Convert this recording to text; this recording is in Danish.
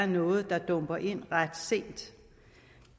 noget der dumpede ind ret sent